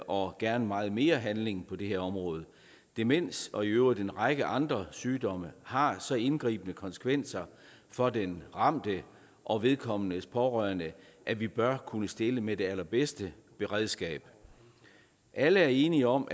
og gerne meget mere handling på det her område demens og i øvrigt en række andre sygdomme har så indgribende konsekvenser for den ramte og vedkommendes pårørende at vi bør kunne stille med det allerbedste beredskab alle er enige om